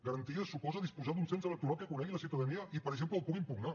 garanties suposa disposar d’un cens electoral que conegui la ciutadania i per exemple el pugui impugnar